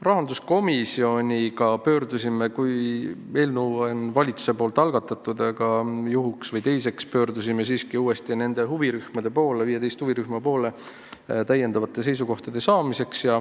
Rahanduskomisjon pöördus, kui eelnõu oli valitsuse poolt algatatud, igaks juhuks uuesti 15 huvirühma poole täiendavate seisukohtade saamiseks.